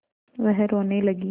वह रोने लगी